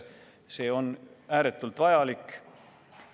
See on ääretult vajalik.